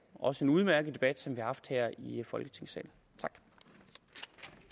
også en udmærket debat som vi har haft her i folketingssalen